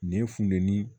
Nin funteni